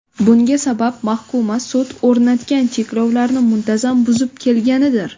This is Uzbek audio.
Bunga sabab mahkuma sud o‘rnatgan cheklovlarni muntazam buzib kelganidir .